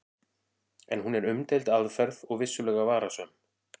En hún er umdeild aðferð og vissulega varasöm.